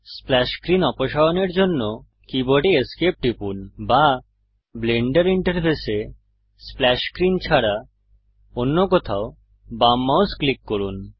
splash screen অপসারণের জন্য কীবোর্ডে ESC টিপুন বা ব্লেন্ডার ইন্টারফেসে স্প্ল্যাশ স্ক্রীন ছাড়া অন্য কোথাও বাম মাউস ক্লিক করুন